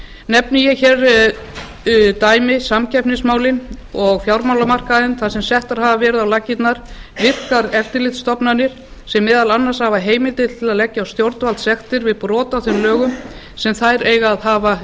nefni ég hér dæmi samkeppnismálin og fjármálamarkaðinn þar sem settar hafa verið á laggirnar virkar eftirlitsstofnanir sem meðal annars hafa heimildir til að leggja á stjórnvaldssektir við brot á þeim lögum sem þær eiga að hafa